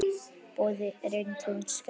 Boði: er ein tegund skerja.